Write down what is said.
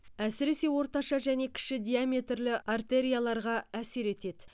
әсіресе орташа және кіші диаметрлі артерияларға әсер етеді